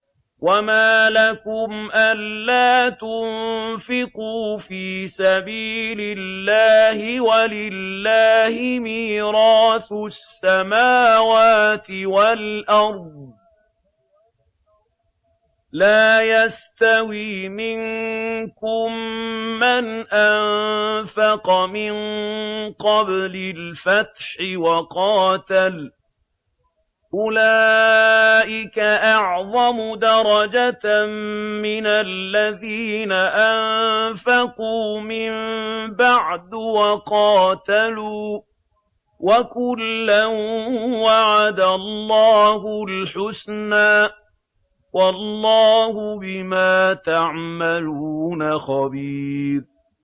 وَمَا لَكُمْ أَلَّا تُنفِقُوا فِي سَبِيلِ اللَّهِ وَلِلَّهِ مِيرَاثُ السَّمَاوَاتِ وَالْأَرْضِ ۚ لَا يَسْتَوِي مِنكُم مَّنْ أَنفَقَ مِن قَبْلِ الْفَتْحِ وَقَاتَلَ ۚ أُولَٰئِكَ أَعْظَمُ دَرَجَةً مِّنَ الَّذِينَ أَنفَقُوا مِن بَعْدُ وَقَاتَلُوا ۚ وَكُلًّا وَعَدَ اللَّهُ الْحُسْنَىٰ ۚ وَاللَّهُ بِمَا تَعْمَلُونَ خَبِيرٌ